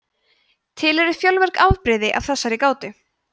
til eru fjölmörg afbrigði af þessari gátu